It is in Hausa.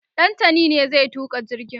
Ɗantani ne zai tuka jirgin